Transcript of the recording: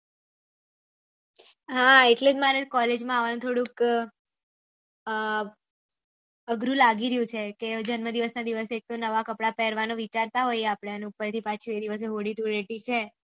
હા એટલે મને કોલેજ માં આવુંની થોડું જ આ અઘરું લાગી રહ્યું છે કે જન્મ દિવસ ના દિવસે એક તો નવા કપડા પેહ્વારનું વિચારતા હોયીયે આપળે અને ઉપર થી પાછી એ દિવસે હોળી ધૂળેટી છે